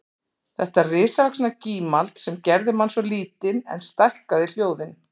Þetta risavaxna gímald sem gerði mann svo lítinn en stækkaði hljóðin